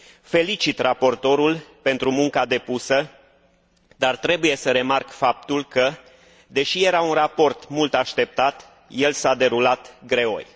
Felicit raportorul pentru munca depusă, dar trebuie să remarc faptul că, deși era un raport mult așteptat, el s a derulat greoi.